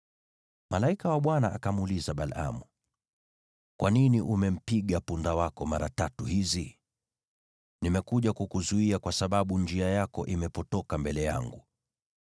Malaika wa Bwana akamuuliza Balaamu, “Kwa nini umempiga punda wako mara tatu hizi? Nimekuja kukuzuia kwa sababu njia yako imepotoka mbele yangu.